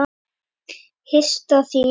Hinsta þín.